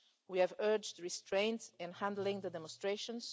We have urged restraint in handling the demonstrations.